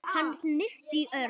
Hann hnippti í Örn.